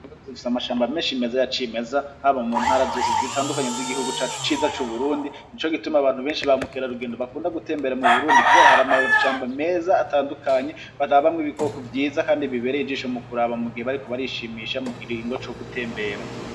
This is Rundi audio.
Burundi zigfisa amashambo amenshi meza ya cimeza habo mu ntara zose zitandukanye z'igihugu cacu ciza c'uburundi ni co gituma abantu benshi bamukera rugendo bakunda gutembera mu burundi, kubera hari amasamba meza atandukanyi barabamwo ibikoko vyiza, kandi bibereye ijisho mu kuraba mu gihe bariko barishimisha mu kigingo co gutembera.